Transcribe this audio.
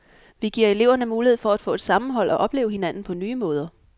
Vi giver eleverne mulighed for at få et sammenhold og opleve hinanden på nye måder.